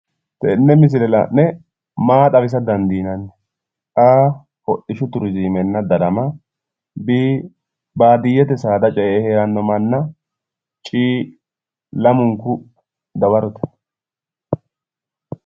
Tenne misile la'ne maa xawisa dandiinani? a, hodhishshu turizimenna darama b,baadiyyete saada ce'e heeranno manna c, lamunku dawarote.